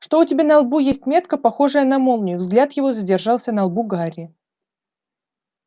что у тебя на лбу есть метка похожая на молнию взгляд его задержался на лбу гарри